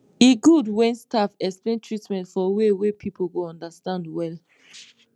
e good when staff explain treatment for way wey people go understand well